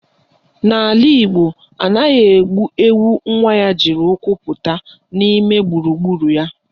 N'ala Igbo, anaghị egbu ewu nwa ya jiri ụkwụ pụta n'ime gburugburu ya